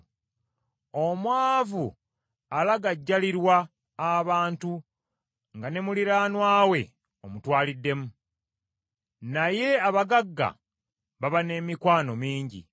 Omwavu alagajjalirwa abantu nga ne muliraanwa we omutwaliddemu, naye abagagga baba n’emikwano mingi.